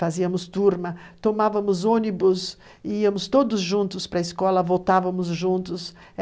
Fazíamos turma, tomávamos ônibus, íamos todos juntos para a escola, voltávamos juntos.